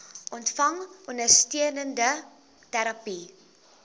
ontvang ondersteunende terapie